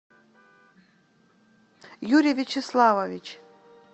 юрий вячеславович